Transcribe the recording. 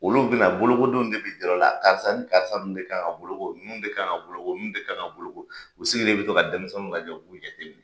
Olu bi na bolokodenw de b i jir'u la karisa ni karisa kan ka boloko ninnu de kan ka boloko ninnu de kan ka boloko u sigilen bi to ka denmisɛnninw lajɛ u b'u jate minɛ.